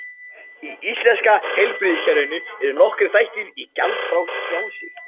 Í íslenska heilbrigðiskerfinu eru nokkrir þættir gjaldfrjálsir.